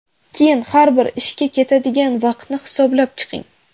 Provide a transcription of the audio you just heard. Keyin har bir ishga ketadigan vaqtni hisoblab chiqing.